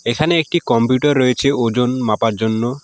এখানে একটি কম্পিউটার রয়েছে ওজন মাপার জন্য।